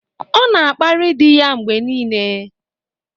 Ọ na-akparị di ya mgbe niile.